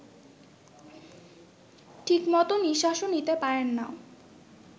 ঠিকমতো নিঃশ্বাসও নিতে পারেন না